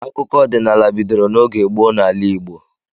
Akụkọ ọdịnala bidoro n'oge gboo n'ala Igbo.